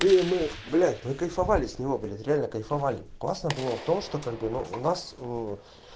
и мы блять мы кайфовали с него блять реально кайфовали классно было в том что как бы у нас ээ